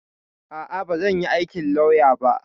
A'a, bazan yi aikin lauya ba.